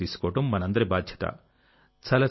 జాగ్రత్తలు తీసుకోవడం మనందరి బాధ్యత